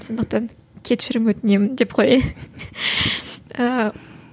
сондықтан кешірім өтінемін деп қояйын ііі